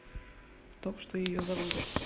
то что ее заводит